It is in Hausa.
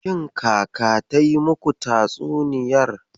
Shin Kaka ta yi muku tatsuniyar?